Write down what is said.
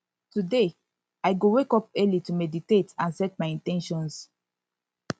today i go wake up early to meditate and set my in ten tions